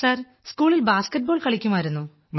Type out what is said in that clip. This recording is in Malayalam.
സർ സ്കൂളിൽ ബാസ്കറ്റ് ബോൾ കളിക്കുമായിരുന്നു